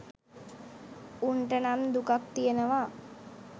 උන්ට නම් දුකක් තියෙනවා